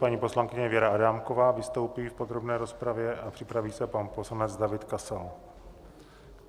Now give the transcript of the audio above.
Paní poslankyně Věra Adámková vystoupí v podrobné rozpravě a připraví se pan poslanec David Kasal.